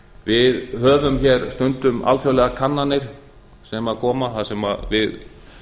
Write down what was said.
við höfum hér stundum alþjóðlegar kannanir sem koma þar sem við